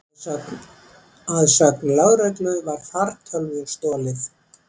Að sögn lögreglu var fartölvu stolið